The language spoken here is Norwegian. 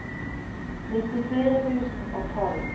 nittifire tusen og tolv